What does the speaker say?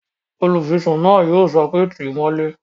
Olùfisùn náà yóò sọ pé "tíì mọ́lé!"